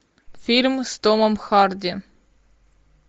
фильм с томом харди